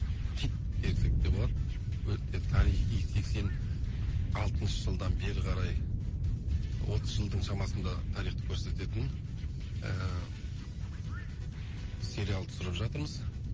хит десек те болады өте тарихи сексен алтыншы жылдан бері қарай отыз жылдың шамасында тарихты көрсететін ыыы сериал түсіріп жатырмыз